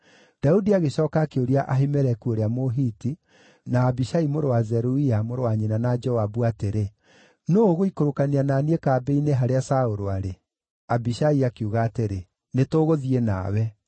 Daudi agĩcooka akĩũria Ahimeleku ũrĩa Mũhiti, na Abishai mũrũ wa Zeruia, mũrũ wa nyina na Joabu, atĩrĩ, “Nũũ ũgũikũrũkania na niĩ kambĩ-inĩ harĩa Saũlũ arĩ?” Abishai akiuga atĩrĩ, “Nĩtũgũthiĩ nawe.”